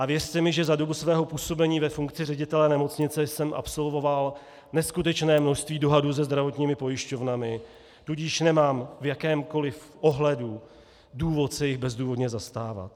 A věřte mi, že za dobu svého působení ve funkci ředitele nemocnice jsem absolvoval neskutečné množství dohadů se zdravotními pojišťovnami, tudíž nemám v jakémkoli ohledu důvod se jich bezdůvodně zastávat.